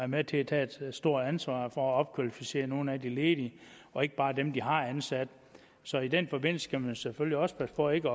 med til at tage et stort ansvar for at opkvalificere nogle af de ledige og ikke bare dem de har ansat så i den forbindelse skal man selvfølgelig også passe på ikke